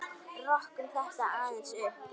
Rokkum þetta aðeins upp!